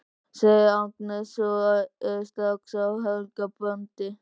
segir Agnes og er strax á Helga bandi.